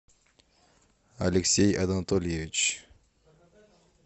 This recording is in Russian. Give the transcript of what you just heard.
алексей анатольевич